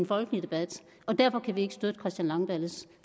folkelig debat derfor kan vi ikke støtte herre christian langballes